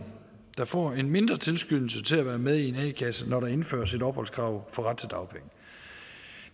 der får en mindre tilskyndelse til at være med i kasse når der indføres et opholdskrav for ret til dagpenge